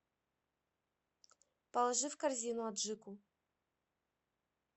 положи в корзину аджику